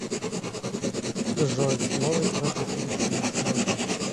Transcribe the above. джой сможешь развеселить меня сегодня